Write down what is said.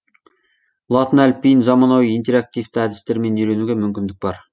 латын әліпбиін заманауи интераективті әдістермен үйренуге мүмкіндік бар